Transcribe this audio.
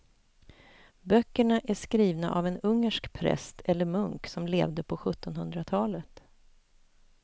Böckerna är skrivna av en ungersk präst eller munk som levde på sjuttonhundratalet.